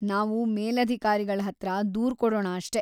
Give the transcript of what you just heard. ನಾವು ಮೇಲಾಧಿಕಾರಿಗಳ್ಹತ್ರ ದೂರ್ ಕೊಡೋಣ ಅಷ್ಟೇ.